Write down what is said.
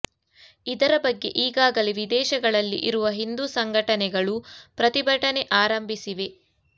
ಇದರ ಬಗ್ಗೆ ಈಗಾಗಲೇ ವಿದೇಶಗಳಲ್ಲಿ ಇರುವ ಹಿಂದೂ ಸಂಘಟನೆಗಳು ಪ್ರತಿಭಟನೆ ಆರಂಭಿಸಿವೆ